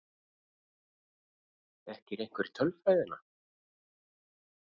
Þekkir einhver tölfræðina?